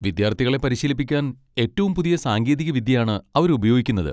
വിദ്യാർത്ഥികളെ പരിശീലിപ്പിക്കാൻ ഏറ്റവും പുതിയ സാങ്കേതികവിദ്യയാണ് അവരുപയോഗിക്കുന്നത്.